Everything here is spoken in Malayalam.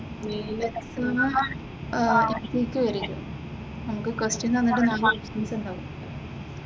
മെയിനിലത്തെ എക്സാമ്മ് അഹ് പി ക്യു ആയിരിക്കും നമുക്കു ക്വെസ്സ്റ്റിയൻ നമ്മുക്ക് തന്നിട്ട് ഉണ്ടാകും